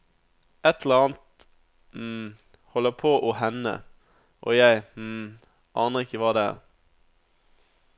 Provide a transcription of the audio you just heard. Et eller annet holder på å hende, og jeg aner ikke hva det er.